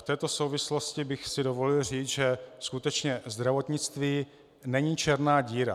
V této souvislosti bych si dovolil říct, že skutečně zdravotnictví není černá díra.